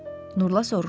Nurla soruşdu.